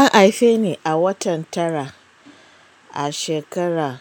An haife ni a watan tara a shekara